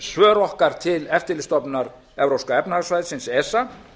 svör okkar til eftirlitsstofnunar evrópska efnahagssvæðisins esa